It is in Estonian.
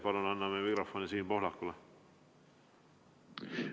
Palun anname mikrofoni Siim Pohlakule!